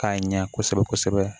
K'a ɲɛ kosɛbɛ kosɛbɛ